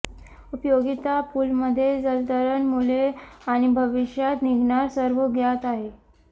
उपयोगिता पूल मध्ये जलतरण मुले आणि भविष्यात निघणार सर्व ज्ञात आहे